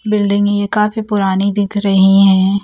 बिल्डिंगे काफी पुरानी दिख रही हैं।